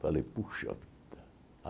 Falei, puxa vida.